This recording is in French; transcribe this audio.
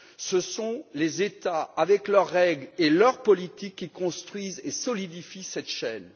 Ce sont les États, avec leurs règles et leurs politiques, qui construisent et solidifient cette chaîne.